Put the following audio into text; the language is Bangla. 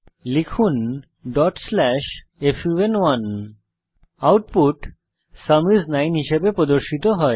লিখুন fun1 আউটপুট সুম আইএস 9 হিসাবে প্রদর্শিত হয়েছে